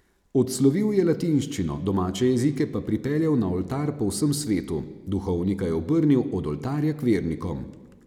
Odslovil je latinščino, domače jezike pa pripeljal na oltar po vsem svetu, duhovnika je obrnil od oltarja k vernikom.